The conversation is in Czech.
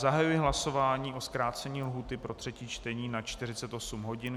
Zahajuji hlasování na zkrácení lhůty pro třetí čtení na 48 hodin.